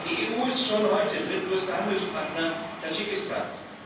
Die EU ist schon heute drittgrößter Handelspartner Tadschikistans.